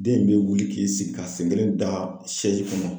Den in bɛ wuli k'i sigi k'a sen kelen da kɔnɔ .